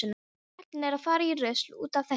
Karlinn er að fara í rusl út af þessu.